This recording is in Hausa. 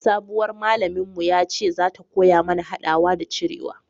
sabuwar malamin mu ya ce za ta koya mana hadawa da cirewa